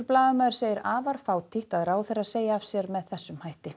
blaðamaður segir afar fátítt að ráðherrar segi af sér með þessum hætti